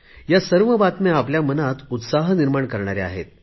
ह्या सर्व बातम्या आपल्या मनात उत्साह निर्माण करणाऱ्या आहेत